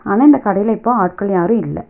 ஆனா இந்த கடைல இப்போ ஆட்கள் யாரு இல்ல.